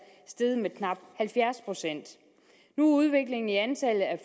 steget med knap halvfjerds procent nu er udviklingen i antallet af